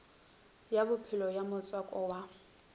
ya bofelo ya motswako wa